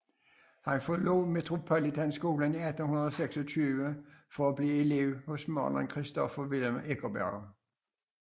Han forlod Metropolitanskolen i 1826 for at blive elev hos maleren Christoffer Wilhelm Eckersberg